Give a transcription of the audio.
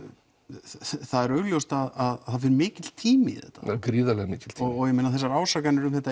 það er augljóst að það fer mikill tími í þetta gríðarlega mikill og þessar ásakanir um þetta